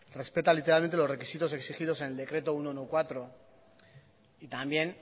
respeta literalmente los requisitos exigidos en el decreto ciento catorce y también